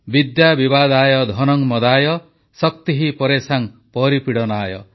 ବିଦ୍ୟା ବିବାଦାୟ ଧନଂ ମଦାୟ ଶକ୍ତିଃ ପରେଷାଂ ପରିପୀଡ଼ନାୟ